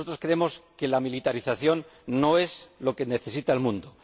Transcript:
Nosotros creemos que la militarización no es lo que necesita el mundo